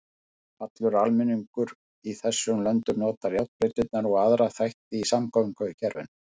Allur almenningur í þessum löndum notar járnbrautirnar og aðra þætti í samgöngukerfinu.